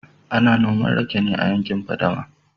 ana noman rake ne a yankin fadama